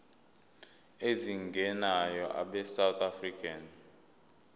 ezingenayo abesouth african